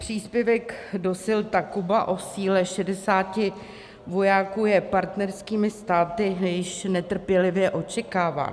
Příspěvek do sil Takuba o síle 60 vojáků je partnerskými státy již netrpělivě očekáván.